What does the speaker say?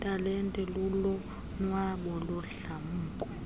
talente lulonwabo nodlamko